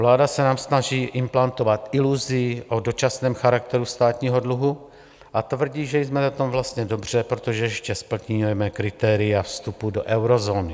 Vláda se nám snaží implantovat iluzi o dočasném charakteru státního dluhu a tvrdí, že jsme na tom vlastně dobře, protože ještě splňujeme kritéria vstupu do eurozóny.